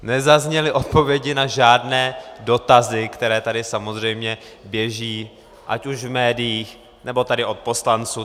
Nezazněly odpovědi na žádné dotazy, které tady samozřejmě běží ať už v médiích, nebo tady od poslanců.